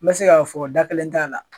N bɛ se k'a fɔ da kelen t'a la.